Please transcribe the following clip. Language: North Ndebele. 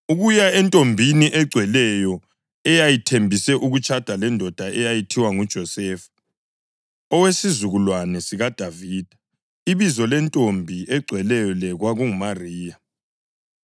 ukuya entombini egcweleyo eyayithembise ukutshada lendoda eyayithiwa nguJosefa, owesizukulwane sikaDavida. Ibizo lentombi egcweleyo le kwakunguMariya.